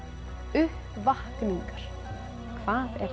uppvakningar hvað er